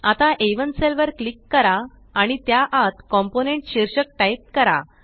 आता आ1 सेल वर क्लिक करा आणि त्या आत कॉम्पोनेंट शीर्षक टाइप करा